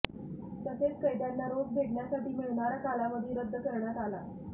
तसेच कैद्यांना रोज भेटण्यासाठी मिळणारा कालावधी रद्द करण्यात आला